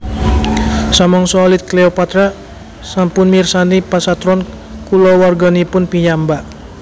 Samangsa alit Cleopatra sampun mirsani pasatron kulawarganipun piyambak